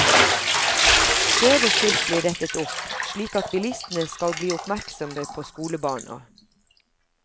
Skjeve skilt blir rettet opp, slik at bilistene skal bli oppmerksomme på skolebarna.